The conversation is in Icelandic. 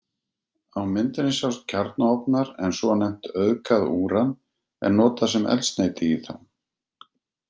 Á myndinni sjást kjarnaofnar en svonefnt auðgað úran er notað sem eldsneyti í þá.